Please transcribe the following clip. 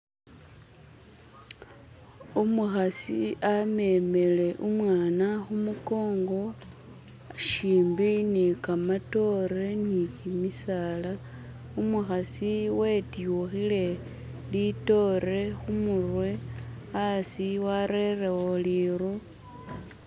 umuhasi amemele umwana humukongo shimbi ni kamatore nikimisaala umuhasi wetyuhile litoore humurwe asi warerewo liru